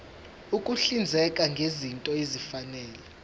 ukuhlinzeka ngezinto ezifanele